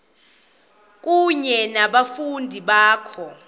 kunye nabafundi bakho